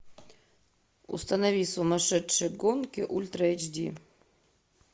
установи сумасшедшие гонки ультра эйч ди